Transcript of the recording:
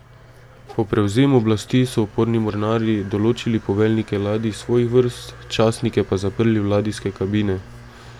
Po prevzemu oblasti so uporni mornarji določili poveljnike ladij iz svojih vrst, častnike pa zaprli v ladijske kabine.